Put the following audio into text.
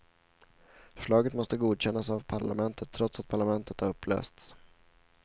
Förslaget måste godkännas av parlamentet, trots att parlamentet har upplösts.